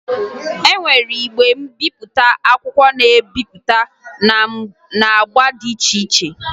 E nwere igwe mbipụta akwụkwọ na-ebipụta n'agba dị iche iche